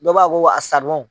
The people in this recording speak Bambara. Dɔ b'a ko wa a